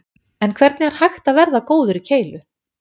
En hvernig er hægt að verða góður í keilu?